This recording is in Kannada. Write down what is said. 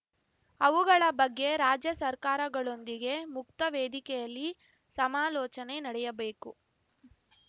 ಅವುಗಳ ಬಗ್ಗೆ ರಾಜ್ಯ ಸರ್ಕಾರಗಳೊಂದಿಗೆ ಮುಕ್ತ ವೇದಿಕೆಯಲ್ಲಿ ಸಮಾಲೋಚನೆ ನಡೆಯಬೇಕು